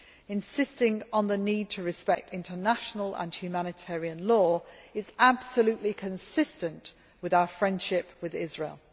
Insisting on the need to respect international and humanitarian law is absolutely consistent with our friendship with Israel.